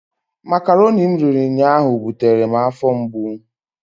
Makaroni m riri ụnyaahụ butere m afọ mgbu.